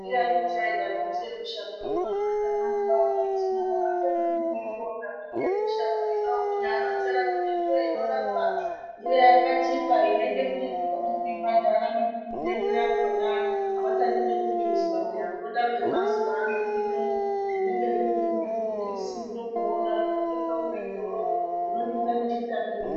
Ndiani uchaida miti yemushango ino ana Tanatswa ano etinawo aachadi nekuiona miti yemushango ino kunyaaronzera kuti ndoinorapa , ndoyakachipa inoite kuti tikone kuibhadhara mitengo yakona avachandi nekuzvizwa peya voda zvemazuwaano zvino zvinenge zviri nemuzvibhokisi ndozvovoda zvinotengwe muzvitoro zvidinza nekutapirira.